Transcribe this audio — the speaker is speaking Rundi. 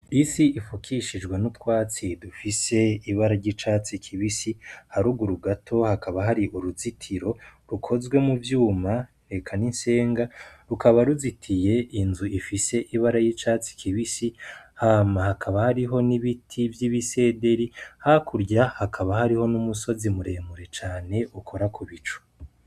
Isi ifukishijwe n'utwatsi dufise ibara ry'icatsi kibisi harugurugato hakaba hari uruzitiro rukozwe mu vyuma reka n'insenga rukaba ruzitiye inzu ifise ibara y'icatsi kibisi hama hakaba hariho n'ibiti vy'ibisederi hakurya hakaba hariho n'umusozi muremure cane ukora ku bicu.